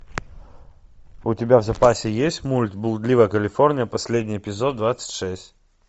у тебя в запасе есть мульт блудливая калифорния последний эпизод двадцать шесть